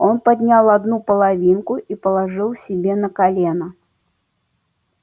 он поднял одну половинку и положил себе на колено